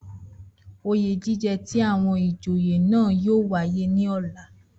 Oyè jíjẹ ti àwọn ìjòyè náà yóò wáyé ní ọ̀la